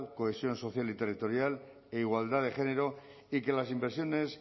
cohesión social y territorial e igualdad de género y que las inversiones